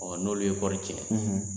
Wa n'olu ye kɔɔri tiɲɛ